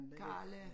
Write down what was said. Karla